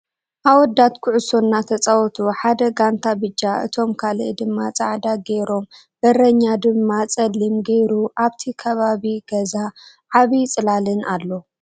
ኣወዳት ኩዕሶ እናትፃወቱ ሓደ ጋንታ ቢጫ እቶም ካሊእ ድማ ፃዕዳ ገሮም በርኛ ድማ ፀልክም ገሩ ጻብቲ ክባቢ ገዛ ዓብይ ፅላልን ኣሎ።